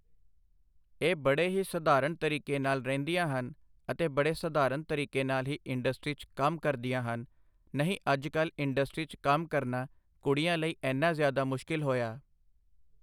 ਇਹ ਬੜੇ ਹੀ ਸਧਾਰਨ ਤਰੀਕੇ ਨਾਲ਼ ਰਹਿੰਦੀਆਂ ਹਨ ਅਤੇ ਬੜੇ ਸਧਾਰਨ ਤਰੀਕੇ ਨਾਲ਼ ਹੀ ਇੰਡਸਟਰੀ 'ਚ ਕੰਮ ਕਰਦੀਆਂ ਹਨ ਨਹੀਂ ਅੱਜ ਕੱਲ਼੍ਹ ਇੰਡਸਟਰੀ 'ਚ ਕੰਮ ਕਰਨਾ ਕੁੜੀਆਂ ਲਈ ਐਨਾ ਜ਼ਿਆਦਾ ਮੁਸ਼ਕਿਲ ਹੋਇਆ।